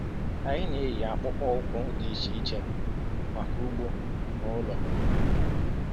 Anyị na-eyi akpụkpọ ụkwụ dị iche iche maka ugbo na ụlọ.